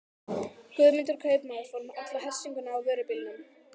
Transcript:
Guðmundur kaupmaður fór með alla hersinguna á vörubílnum.